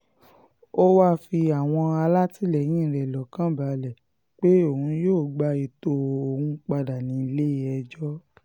ó wáá fi àwọn alátìlẹyìn rẹ̀ lọ́kàn balẹ̀ pé òun yóò gba ètò òun padà nílé-ẹjọ́